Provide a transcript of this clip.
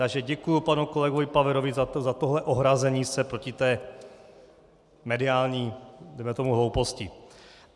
Takže děkuju panu kolegovi Paverovi za tohle ohrazení se proti té mediální, dejme tomu, hlouposti.